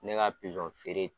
Ne ka pizɔn feere